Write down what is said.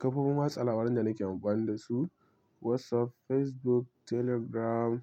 Kafofin watsa labaran da nake amfani da su, WhatsApp, Facebook, Telegram.